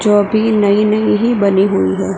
जो अभी नई नई हैं बनी हुई है।